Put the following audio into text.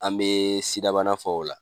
An bɛ sidabana fɔ o la